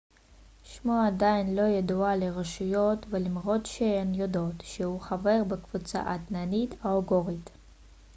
שמו עדיין לא ידוע לרשויות למרות שהן יודעות שהוא חבר בקבוצה האתנית האוגורית